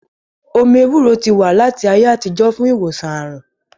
Omí ewúro ti wà láti ayé àtijọ́ fún ìwòsàn àrùn